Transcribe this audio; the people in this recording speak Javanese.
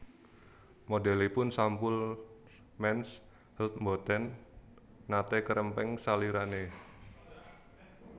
Modelipun sampul Mens Health mboten nate kerempeng salirane